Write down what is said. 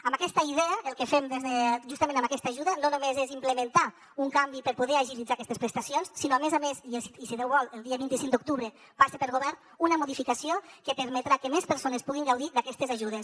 amb aquesta idea el que fem justament amb aquesta ajuda no només és implementar un canvi per poder agilitzar aquestes prestacions sinó a més a més i si déu vol el dia vint cinc d’octubre passa per govern una modificació que permetrà que més persones puguin gaudir d’aquetes ajudes